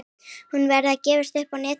Hún verður gefins á netinu.